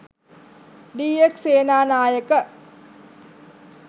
D. S. Senanayake,